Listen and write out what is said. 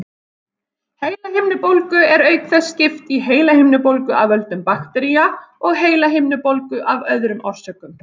Heilahimnubólgu er auk þess skipt í heilahimnubólgu af völdum baktería og heilahimnubólgu af öðrum orsökum.